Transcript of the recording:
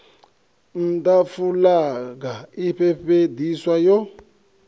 nha fulaga i fhefheiswa yo